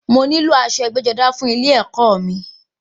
Màá nílò aṣọ ẹgbẹ́-jọdá fún ilẹ ẹ̀kọ́ mi.